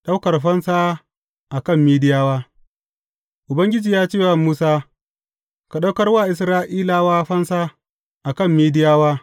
Ɗaukar Fansa a kan Midiyawa Ubangiji ya ce wa Musa, Ka ɗaukar wa Isra’ilawa fansa, a kan Midiyawa.